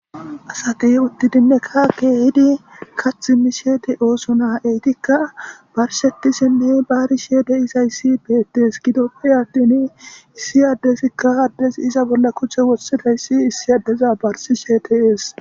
Asati uttidinne kaake hidi kathi mi sheete ooso naa eytikka barshetisinne baarisheede isayssi beettes gidoppe attin issi addesikka haddes iza bolla kuche wossetayssi issi addeza barsi sheeteees.